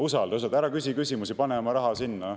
Usalda, ära küsi küsimusi, pane oma raha sinna.